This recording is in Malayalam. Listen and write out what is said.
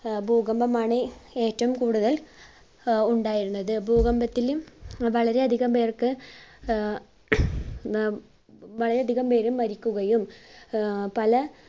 അഹ് ഭൂകമ്പമാണ് ഏറ്റവും കൂടുതൽ ആഹ് ഉണ്ടായിരുന്നത്. ഭൂകമ്പത്തിലും വളരെ അധികം പേർക്ക് ആഹ് ആഹ് വളരെ അധികം പേർ മരിക്കുകയും ആഹ് പല